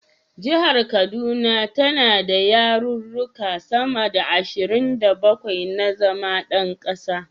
Jihar kaduna tana da yaruruka sama da ashirin da bakwai na zama yan kasa.